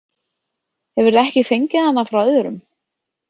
Hefurðu ekki fengið hana frá öðrum?